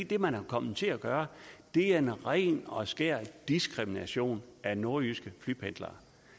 det man er kommet til at gøre er ren og skær diskrimination af nordjyske flypendlere